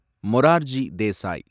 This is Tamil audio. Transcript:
மொரார்ஜி தேசாய்